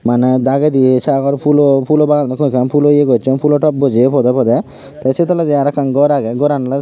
Maney dagedi sagor pulo pulo baag agon ekkan pulo ye gocchon pulo top bojeye podey podey te sei toledi arow ekkan gor agey goran oley.